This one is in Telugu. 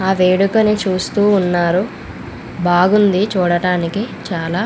ఆ వేడుకని చుస్తునారు బాగుంది చూడానికి చాలా --